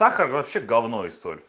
сахар вообще гавно и соль